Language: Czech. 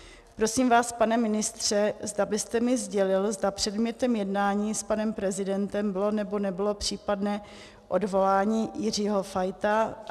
Prosím vás, pane ministře, zda byste mi sdělil, zda předmětem jednání s panem prezidentem bylo nebo nebylo případné odvolání Jiřího Fajta.